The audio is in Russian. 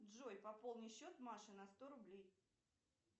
джой пополни счет маши на сто рублей